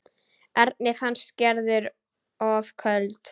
Erni fannst Gerður of köld.